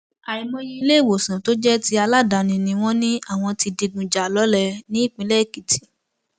àìmọye iléèwòsàn tó jẹ ti aládàáni ni wọn ní àwọn ti digun jà lọlẹ nípínlẹ èkìtì